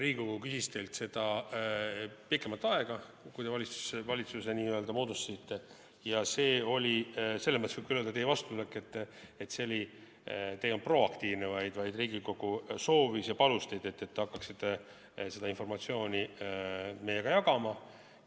Riigikogu küsis teilt seda pikemat aega, kui te valitsuse moodustasite, ja see oli, selles mõttes võib küll öelda teie vastutulek, et te ei olnud proaktiivne, vaid Riigikogu soovis ja palus teid, et te hakkaksite seda informatsiooni meiega jagama.